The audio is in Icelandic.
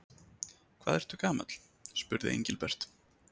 Hvað ertu gamall? spurði Engilbert.